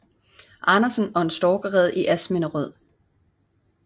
Andersen og en storkerede i Asminderød